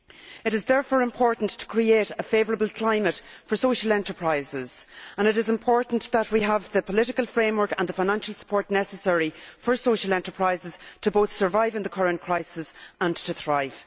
It is therefore important to create a favourable climate for social enterprises and it is important that we have the political framework and the financial support necessary for social enterprises to both survive in the current crisis and to thrive.